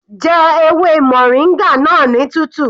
Jẹ ewé moringa náà ní tútù.